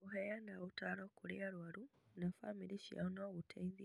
Kũheana ũtaaro kũrĩ arũaru na bamĩrĩ ciao no gũteithie